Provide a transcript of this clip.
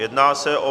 Jedná se o